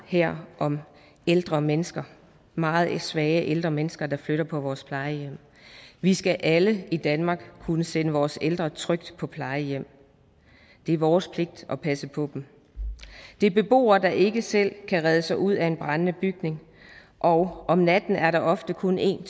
her om ældre mennesker meget svage ældre mennesker der flytter på vores plejehjem vi skal alle i danmark kunne sende vores ældre trygt på plejehjem det er vores pligt at passe på dem det er beboere der ikke selv kan redde sig ud af en brændende bygning og om natten at der ofte kun en